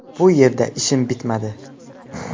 Bu yerda ishim bitmadi.